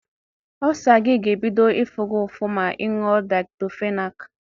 Ọlsa gi ga-ebido ifu gi ụfụ ma ịñyuo diktọfenak.